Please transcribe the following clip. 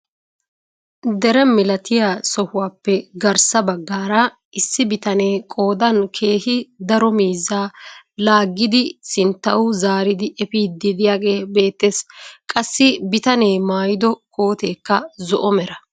Dere milatiyaa sohuwaappe garssa baggaara issi bitanee qoodan keehi daro miizzaa laagidi sinttawu zaaridi epiidi de'iyaage beettees. qassi bitanee maayido kooteekka zo'o mera.